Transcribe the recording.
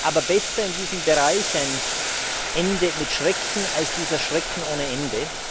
Aber besser in diesem Bereich ein Ende mit Schrecken als dieser Schrecken ohne Ende.